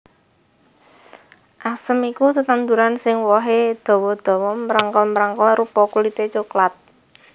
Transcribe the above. Asem iku tetanduran sing wohé dawa dawa mrengkel mrengkel rupa kulité coklat